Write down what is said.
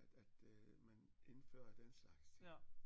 at at øh man indførte den slags ting